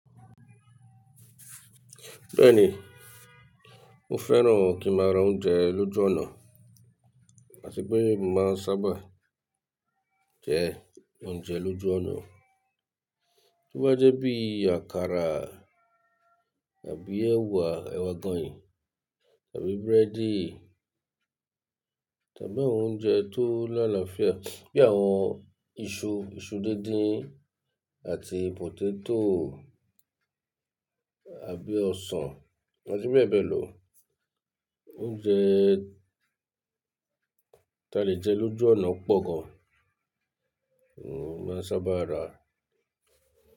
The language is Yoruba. Bẹ́ẹ̀ni, mo fẹ́ràn kí n máa ra oúnjẹ lójú ọ̀nà àti pé mo máa ń sábà jẹ oúnjẹ lójú ọ̀nà. Tí ó bá jẹ́ bí àkàrà tàbí ẹwà, ẹwà agọ̀yìn tàbí búrẹ́dì tàbí àwọn oúnjẹ tó láàláfia, bí àwọn iṣu, iṣu díndín àti potato àbí ọsàn àti bẹ́ẹ̀ bẹ́ẹ̀ lọ. Oúnjẹ ta lè jẹ lójú ọ̀nà pọ̀ gan. Mo máa ń sábà rà á.